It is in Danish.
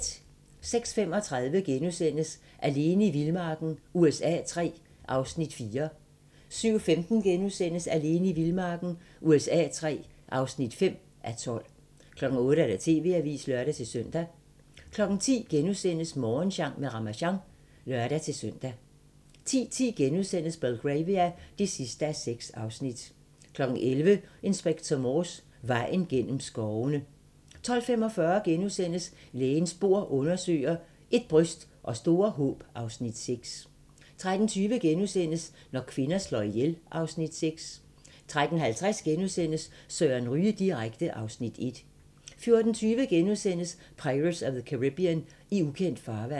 06:35: Alene i vildmarken USA III (4:12)* 07:15: Alene i vildmarken USA III (5:12)* 08:00: TV-avisen (lør-søn) 10:00: Morgensang med Ramasjang *(lør-søn) 10:10: Belgravia (6:6)* 11:00: Inspector Morse: Vejen gennem skovene 12:45: Lægens bord undersøger: Ét bryst og store håb (Afs. 6)* 13:20: Når kvinder slår ihjel (Afs. 6)* 13:50: Søren Ryge direkte (Afs. 1)* 14:20: Pirates of the Caribbean: I ukendt farvand *